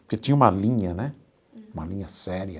Porque tinha uma linha né, uma linha séria.